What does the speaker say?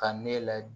Ka ne layɛ